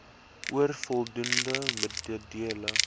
oor voldoende middele